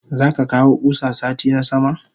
Zaka kawo kusa sati na sama?